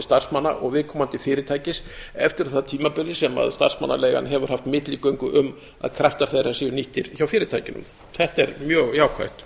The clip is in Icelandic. starfsmanna og viðkomandi fyrirtækis eftir að því tímabili sem starfsmannaleigan hefur haft milligöngu um að kraftar þeirra séu nýttir hjá fyrirtækinu þetta er mjög jákvætt